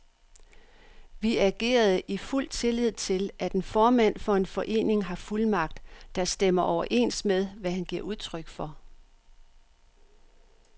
Vi agerede i fuld tillid til, at en formand for en forening har fuldmagt, der stemmer overens med, hvad han giver udtryk for.